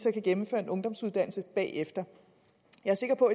gennemføre en ungdomsuddannelse bagefter jeg er sikker på